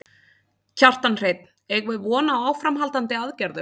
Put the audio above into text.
Kjartan Hreinn: Eigum við von á áframhaldandi aðgerðum?